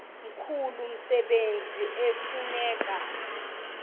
mkhulu umsebenzi ekufuneka